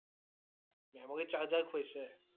Memory charger খুৱাইছে?